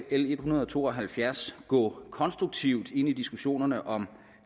l en hundrede og to og halvfjerds gå konstruktivt ind i diskussionerne om